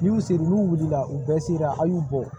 N'u sere n'u wulila u bɛɛ sera a y'u bɔ